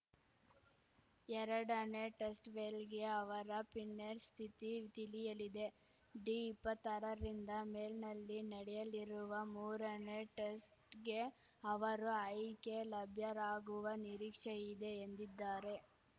ಎರಡನೇ ಟೆಸ್ಟ್‌ವೇಳೆಗೆ ಅವರ ಪಿನ್ನೆರ್ಸ್ ಸ್ಥಿತಿ ತಿಳಿಯಲಿದೆ ಡಿಇಪ್ಪತ್ತಾರರಿಂದ ಮೆನಲ್ಲಿ ನಡೆಯಲಿರುವ ಮೂರನೇ ಟೆಸ್ಟ್‌ಗೆ ಅವರು ಆಯ್ಕೆ ಲಭ್ಯರಾಗುವ ನಿರೀಕ್ಷೆ ಇದೆ ಎಂದಿದ್ದಾರೆ